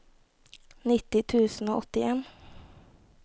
nittini tusen og åttien